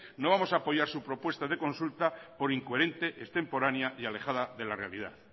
no vamos a apoyar su propuesta de consulta por incoherente extemporánea y alejada de la realidad